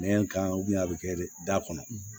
Nɛn kan a bɛ kɛ de da kɔnɔ